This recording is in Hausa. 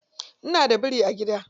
Ina da biri a gida.